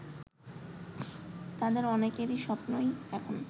তাদের অনেকের স্বপ্নই এখন